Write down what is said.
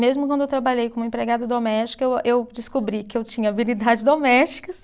Mesmo quando eu trabalhei como empregada doméstica, eu, eu descobri que eu tinha habilidades domésticas.